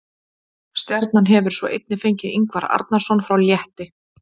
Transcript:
Stjarnan hefur svo einnig fengið Ingvar Arnarson frá Létti.